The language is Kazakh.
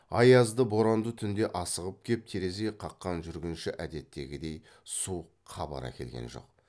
аязды боранды түнде асығып кеп терезе қаққан жүргінші әдеттегідей суық хабар әкелген жоқ